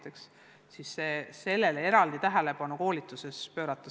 Nüüd on vaja sellele koolituses eraldi tähelepanu pöörata.